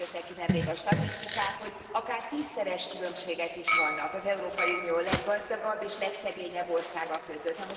Ugye most jöttek ki nemrég a statisztikák, hogy akár tízszeres különbségek is vannak az Európai Unió leggazdagabb és legszegényebb országa között.